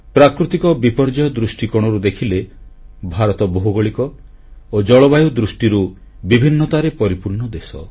ପ୍ରାକୃତିକ ବିପର୍ଯ୍ୟୟ ଦୃଷ୍ଟିକୋଣରୁ ଦେଖିଲେ ଭାରତ ଭୌଗୋଳିକ ଓ ଜଳବାୟୁ ଦୃଷ୍ଟିରୁ ବିଭିନ୍ନତାରେ ପରିପୂର୍ଣ୍ଣ ଦେଶ